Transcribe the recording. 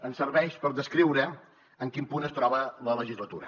em serveix per descriure en quin punt es troba la legislatura